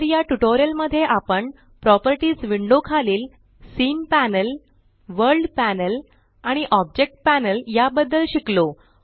तर या ट्यूटोरियल मध्ये आपण प्रॉपर्टीज विंडो खालील सीन पॅनेल वर्ल्ड पॅनेल आणि ऑब्जेक्ट पॅनेल या बद्दल शिकलो